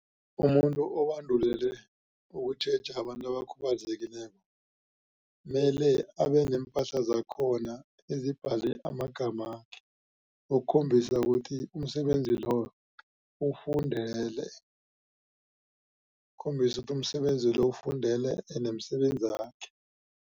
Umuntu obandulelwe ukutjheja abantu abakhubazekileko mele abeneempahla zakhona ezibhale amagamakhe ukukhombisa ukuthi umsebenzi loyo uwufundele. Ukhombisa ukuthi umsebenzi lo uwufundele ende msebenzakhe.